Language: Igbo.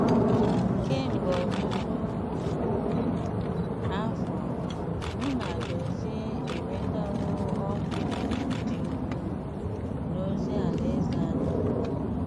Kemgbe ọtụtụ afọ, mụ na Dozie enwetawo ọṅụ dị ukwuu n’ozi Alaeze anyị.